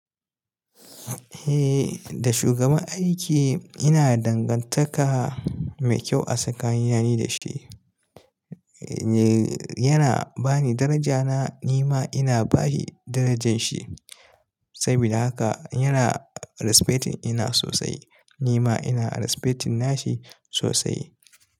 Eh, da shugaban aiki ina dangantaka mai kyau a tsakanin ni da shi. Yana bani daraja na, ni ma ina ba shi darajan shi. Saboda haka yana respecting ina sosai, ni ma ina respecting nashi sosai.